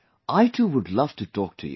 I too would love to talk to you